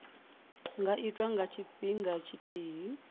nga itwa nga tshifhinga tshithihi